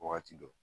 Wagati dɔ